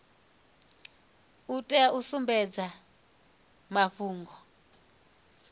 u tea u sumbedza mafhungo